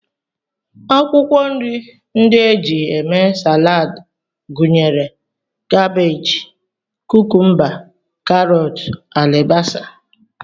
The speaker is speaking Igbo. Akwụkwọ nri ndị e ji eme Salad gụnyere kabej, kukumba, karọt, alibasa